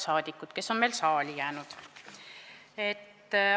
Head saadikud, kes on veel saali jäänud!